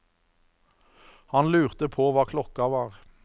Han lurte på hva klokka var.